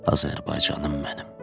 Azərbaycanım mənim.